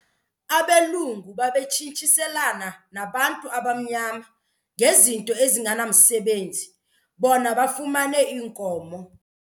Abelungu babetshintshiselana nabantu abamnyama ngezinto ezingenamsebenzi bona bafumane iinkomo.